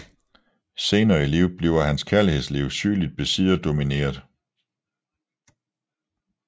Senere i livet bliver hans kærlighedsliv sygeligt besidderdomineret